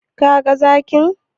Ka ga zakin?